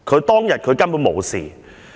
當日佢根本無事！